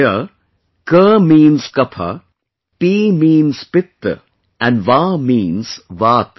Here, Ka means Kapha, Pi means Pitta and Va means Vaata